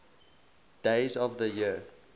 days of the year